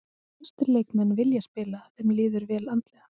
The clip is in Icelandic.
Flestir leikmenn vilja spila ef þeim líður vel andlega.